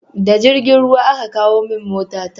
Da jirgin ruwa aka kawo min mota ta